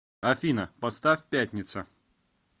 афина поставь пятница